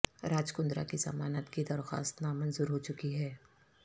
راج کندرہ کی ضمانت کی درخواست نا منظور ہو چکی ہے